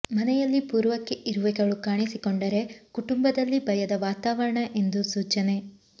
ಮನೆಯಲ್ಲಿ ಪೂರ್ವಕ್ಕೆ ಇರುವೆಗಳು ಕಾಣಿಸಿಕೊಂಡರೆ ಕುಟುಂಬದಲ್ಲಿ ಭಯದ ವಾತಾವರಣ ಎಂದು ಸೂಚನೆ